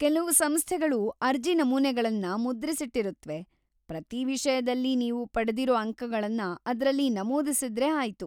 ಕೆಲವು ಸಂಸ್ಥೆಗಳು ಅರ್ಜಿ ನಮೂನೆಗಳನ್ನ ಮುದ್ರಿಸಿಟ್ಟಿರುತ್ವೆ, ಪ್ರತೀ ವಿಷಯದಲ್ಲಿ ನೀವು ಪಡೆದಿರೋ ಅಂಕಗಳನ್ನ ಅದ್ರಲ್ಲಿ ನಮೂದಿಸಿದ್ರೆ ಆಯ್ತು.